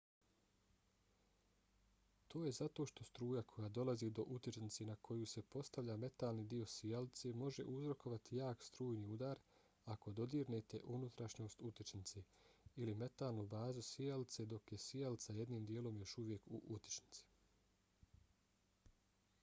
to je zato što struja koja dolazi do utičnice na koju se postavlja metalni dio sijalice može uzrokovati jak strujni udar ako dodirnete unutrašnjost utičnice ili metalnu bazu sijalice dok je sijalica jednim dijelom još uvijek u utičnici